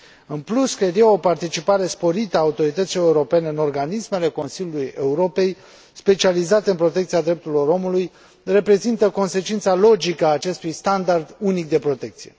În plus, cred eu, o participare sporită a autorităților europene în organismele Consiliului Europei, specializate în protecția drepturilor omului, reprezintă consecința logică a acestui standard unic de protecție.